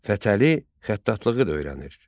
Fətəli xəttatlığı da öyrənir.